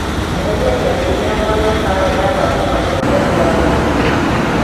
eheria gĩathĩ gĩakwa gĩa karenda thaa mũgwanja cia mĩaraho ũmũthĩ